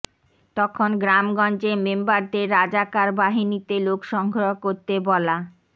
তখন গ্রামগঞ্জে মেম্বারদের রাজাকার বাহিনীতে লোক সংগ্রহ করতে বলা